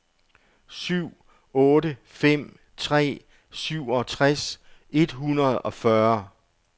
syv otte fem tre syvogtres et hundrede og fyrre